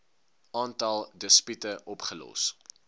aantal dispute opgelos